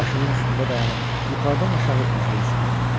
Başının üstündə dayanıb yuxarıdan aşağı üzünə zilləndi.